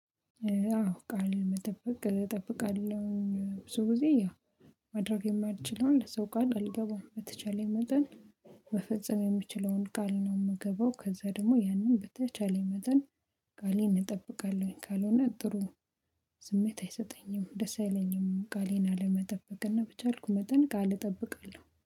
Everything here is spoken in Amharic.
አዎ ቃል መጠበቅ እጠብቃለሁ ብዙ ጊዜ ያ ማድረግ የማትችለው ሰው ቃል አልገባም በተቻለኝመጠን መፈጸም የሚችለውን ቃል ነው። የምገባው ከዛ ደግሞ ያንን በተቻለኝ መጠን ቃሌን እጠብቃለሁኝ። ካልሆነ ጥሩ ስሜት አይሰጠኝም ደስ አይለኝም። ቃሌን አለመጠበቅና ብቻ አልኩ መጠን ቃል እጠብቃለሁ